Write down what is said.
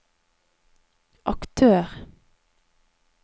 aktør